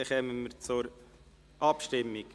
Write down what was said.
Dann kommen wir zur Abstimmung.